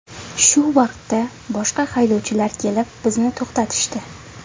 Shu vaqtda boshqa haydovchilar kelib bizni to‘xtatishdi.